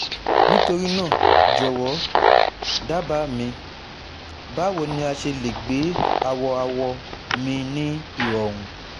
nitorina jọwọ daba mi bawo ni a ṣe le gbe awọ-awọ mi ni irọrun